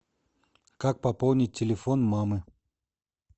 как пополнить телефон мамы